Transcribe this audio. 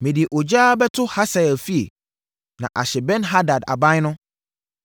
Mede ogya bɛto Hasael efie na ahye Ben-Hadad aban no.